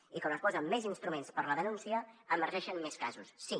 i quan es posen més instruments per a la denúncia emergeixen més casos sí